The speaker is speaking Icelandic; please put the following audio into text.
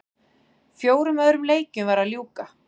Fjórum öðrum leikjum var að ljúka